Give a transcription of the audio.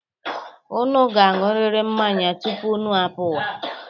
Unu ga-aṅụrịrị mmanya tupu unu apụwa.